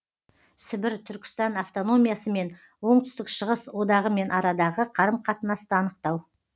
сібір түркістан автономиясы мен оңтүстік шығыс одағымен арадағы қарым қатынасты анықтау